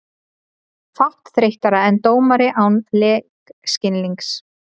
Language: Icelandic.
Fátt þreyttara en dómari án leikskilnings.